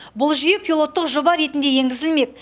бұл жүйе пилоттық жоба ретінде енгізілмек